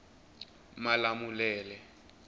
malamulele